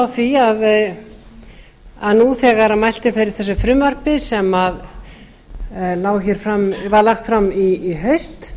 því að nú þegar mælt er fyrir þessu frumvarpi sem var lagt fram í haust